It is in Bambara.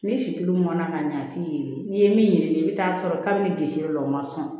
Ni si tulu mɔna ka ɲɛ a t'i ye n'i ye min yelen i bɛ taa sɔrɔ kabini lisi l'o la o ma sɔn